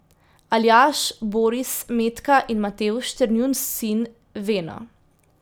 Aljaž, Boris, Metka in Matevž ter njun sin Veno.